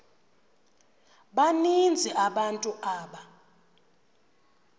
baninzi abantu aba